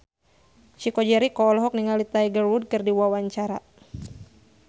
Chico Jericho olohok ningali Tiger Wood keur diwawancara